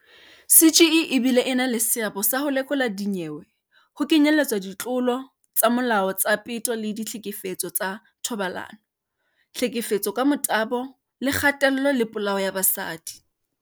"CGE e bile e na le seabo sa ho lekola dinyewe, ho kenyeletswa ditlolo tsa molao tsa peto le ditlhekefetso ka thobalano, tlhefetso ka motabo le kgatello le polao ya basadi."